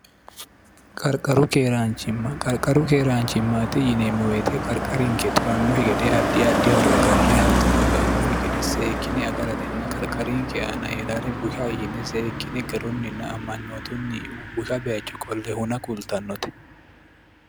qarqaru keeraanchimma qarqaru keeraanchimmaati yineemmo weete qarqarinke xurannokki gede addi addi horo agarre hattono ba'annohi gede seekkine agaratenna qarqarinke aana heeraare busha ishine seekkine garunninna ammanyootunni busha bacho qolle huna qultannote